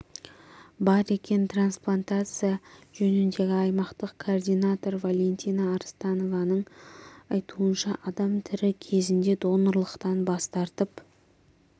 бар екен трансплантация жөніндегі аймақтық координатор валентина арыстанованың айтуынша адам тірі кезінде донорлықтан бас тартып